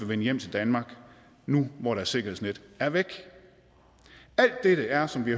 vende hjem til danmark nu hvor deres sikkerhedsnet er væk alt dette er som vi